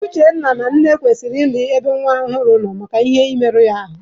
Uche nne na nna kwesịrị ị dị ebe nwa ọhụrụ ha nọ maka ihe ị merụ ya ahụ.